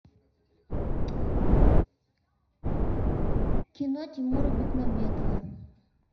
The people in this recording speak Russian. кино тимура бекмамбетова